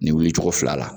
Ni wuli cogo fila la